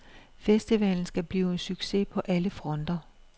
Festivalen skal blive en succes på alle fronter.